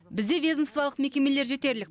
бізде ведомстволық мекемелер жетерлік